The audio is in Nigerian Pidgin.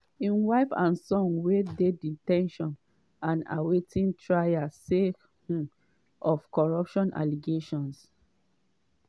im wife and son wey dey de ten tion and awaiting trial sake um of corruption allegations.